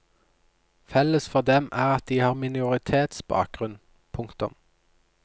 Felles for dem er at de har minoritetsbakgrunn. punktum